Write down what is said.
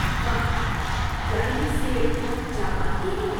واہ! کیا یہ سیب جاپان کے ہیں؟